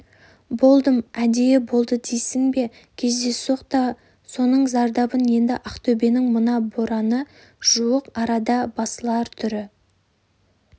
болдым әдейі болды дейсің бе кездейсоқ да соның зардабын енді ақтөбенің мына бораны жуық арада басылар түрі